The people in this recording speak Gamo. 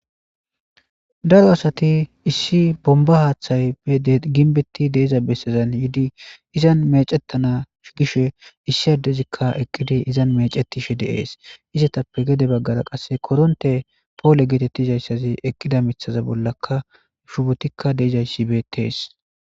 daro asati issi bomba haaththaye ginbetti de'iza bessezan yiidi izan mecettanash gishe issi adezikka eqqidi izan mecetishe de'ees izetappe gede baggara qasse koronte poole geetettizayssazi eqqida mithaza bollakka shubotikka de'izayssi betees